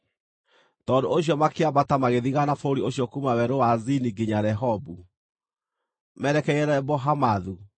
Tondũ ũcio makĩambata magĩthigaana bũrũri ũcio kuuma Werũ wa Zini nginya Rehobu, merekeire Lebo-Hamathu.